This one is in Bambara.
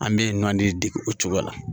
An bɛ ɲɔn di dege o cogo la